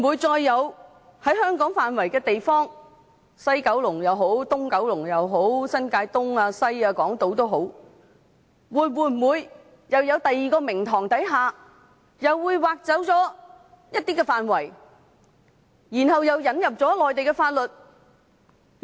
在香港的範圍，不論是西九龍、東九龍、新界東、新界西或港島，會否在別的名目下，又再被挖走一些範圍，然後又引入內地法律？